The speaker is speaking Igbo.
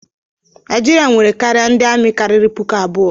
Naijiria nwere karịa ndị amị karịrị puku abụọ.